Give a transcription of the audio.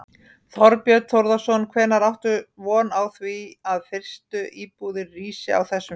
Þorbjörn Þórðarson: Hvenær áttu von á því að fyrstu íbúðir rísi á þessum stað?